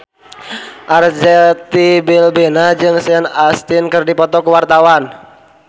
Arzetti Bilbina jeung Sean Astin keur dipoto ku wartawan